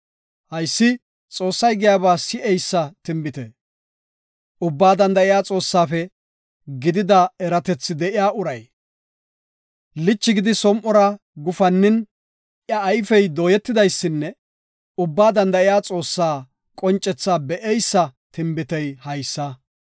Haysi Xoossay giyaba si7eysa tinbitiya, Ubbaa danda7iya Xoossafe gidida eratethi de7iya uray. Lichi gidi som7ora gufannin, iya ayfey dooyetidaysinne Ubbaa Danda7iya Xoossaa qoncethaa be7eysa tinbitey haysa.